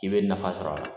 I bɛ nafa sɔrɔ a la